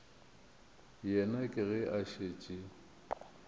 yena ke ge a šetše